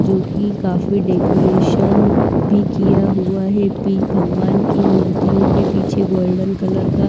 जो कि काफी डेकोरेशन भी किया हुआ है भगवान की मूर्तियों के पीछे गोल्डन कलर का--